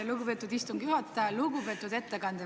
Lugupeetud ettekandja!